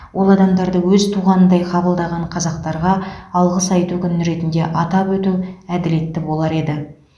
ол адамдарды өз туғанындай қабылдаған қазақтарға алғыс айту күні ретінде атап өту әділетті болар еді